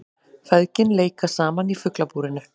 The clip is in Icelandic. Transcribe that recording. Feðgin leika saman í Fuglabúrinu